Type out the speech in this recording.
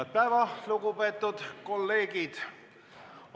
Head päeva, lugupeetud kolleegid!